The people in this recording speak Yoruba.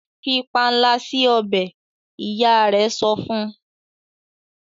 fí panla si ọbẹ! ìyá rẹ sọfún.